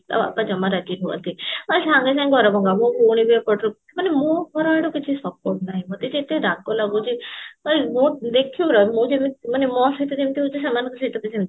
ତା ବାପା ଜମା ରାଗି ନୁହନ୍ତି ଆ ସାଙ୍ଗେ ସାଙ୍ଗେ ଘର ଭଙ୍ଗା ମୋ ଭଉଣୀ ବି ଏପଟରୁ ମାନେ ମୋ ଘରଆଡୁ କିଛି support ନାହିଁ ମୋତେ ଏତେ ରାଗ ଲାଗୁଛି ଏଇ ମୁଁ ଦେଖିବୁ ରହ ମୁଁ ଯେବେ ମାନେ ମୋ ସହିତ ଯେମିତି ହଉଛି ସେମାନଙ୍କ ସହିତ ବି ସେମିତି